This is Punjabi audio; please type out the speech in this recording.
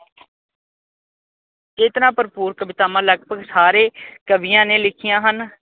ਚੇਤਨਾ ਭਰਭੂਰ ਕਵਿਤਾਵਾਂ ਲਗਭਗ ਸਾਰੇ ਕਵੀਆਂ ਨੇ ਲਿਖੀਆਂ ਹਨ।